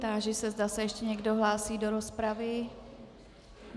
Táži se, zda se ještě někdo hlásí do rozpravy.